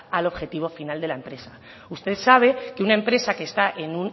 al objetivo final de la empresa usted sabe que una empresa que está